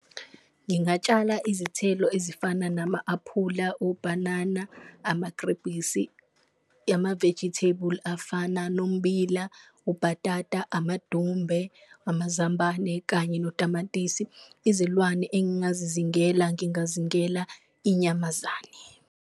Ngingatshala izithelo ezifana nama-aphula, ubhanana, amagrebhisi, ama-vegetable afana nommbila, ubhatata, amadumbe, amazambane kanye notamatisi. Izilwane engingazizingela ngingazingela inyamazane.